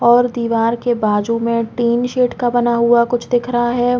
और दीवार के बाजू में तीन सीट का बना हुआ कुछ दिख रहा हैं ।